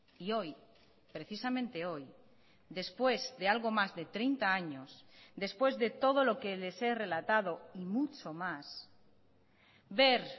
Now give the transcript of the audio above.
y hoy precisamente hoy después de algo más de treinta años después de todo lo que les he relatado y mucho más ver